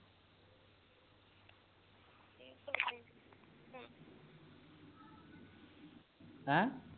ਹੈਂ